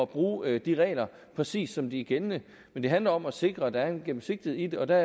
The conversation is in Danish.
bruge de regler præcis som de er gældende men det handler om at sikre at der er en gennemsigtighed i det og der